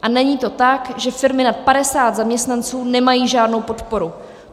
A není to tak, že firmy nad 50 zaměstnanců nemají žádnou podporu.